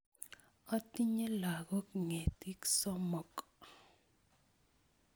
Otinye lakok ngetik somok.